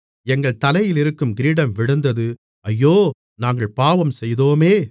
எங்கள் தலையிலிருந்து கிரீடம் விழுந்தது ஐயோ நாங்கள் பாவம்செய்தோமே